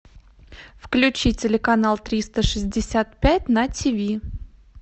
включи телеканал триста шестьдесят пять на тв